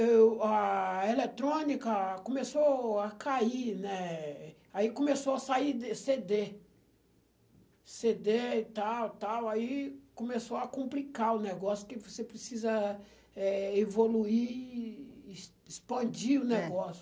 Eu, a eletrônica começou a cair, né, aí começou a sair cê dê, cê dê e tal e tal, aí começou a complicar o negócio que você precisa, eh, evoluir, ex expandir o negócio. É